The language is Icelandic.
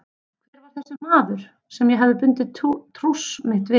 Hver var þessi maður sem ég hafði bundið trúss mitt við?